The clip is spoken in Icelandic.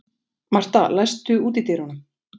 Martha, læstu útidyrunum.